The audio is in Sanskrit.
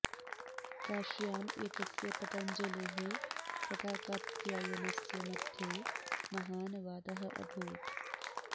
काश्याम् एतस्य पतञ्जलेः तथा कात्यायनस्य मध्ये महान् वादः अभूत्